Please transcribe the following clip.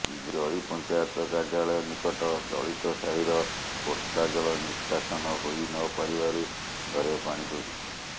ଜରି ପଞ୍ଚାୟତ କାର୍ଯ୍ୟାଳୟ ନିକଟ ଦଳିତ ସାହିର ବର୍ଷା ଜଳ ନିଷ୍କାସନ ହୋଇ ନପାରିବାରୁ ଘରେ ପାଣି ପଶିଛି